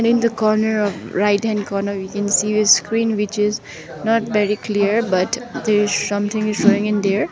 in the corner of right hand corner we can see a screen which is not very clear but there is something is showing in there.